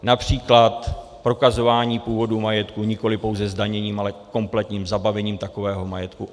Například prokazování původu majetku nikoliv pouze zdaněním, ale kompletním zabavením takového majetku.